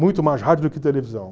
Muito mais rádio do que televisão.